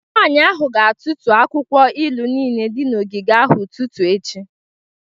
Nwanyị ahụ ga-atụtụ akwụkwọ ilu niile dị n'ogige ahụ n'ụtụtụ echi